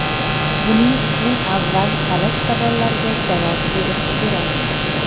Buning uchun avval kalit savollarga javob berish kerak.